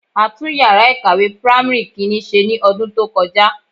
A tún yàrá ìkàwé primary Kínní ṣe ní ọdún tó kọjá.